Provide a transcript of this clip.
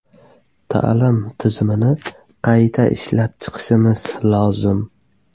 Ta’lim tizimini qayta ishlab chiqishimiz lozim.